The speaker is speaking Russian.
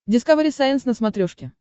дискавери сайенс на смотрешке